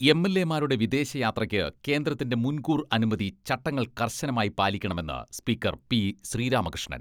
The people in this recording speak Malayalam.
എംഎൽഎമാരുടെ വിദേശയാത്രക്ക് കേന്ദ്രത്തിന്റെ മുൻകൂർ അനുമതി ചട്ടങ്ങൾ കർശനമായി പാലിക്കണമെന്ന് സ്പീക്കർ പി.ശ്രീരാമകൃഷ്ണൻ.